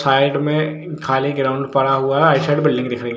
side मे खाली ground पड़ा हुआ है राइट साइड बिल्डिंग दिखाई --